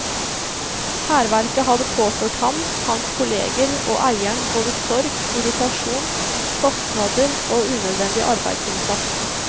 Hærverket hadde påført ham, hans kolleger og eieren både sorg, irritasjon, kostnader og unødvendig arbeidsinnsats.